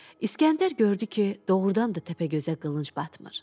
İskəndər gördü ki, doğrudan da Təpəgözə qılınc batmır.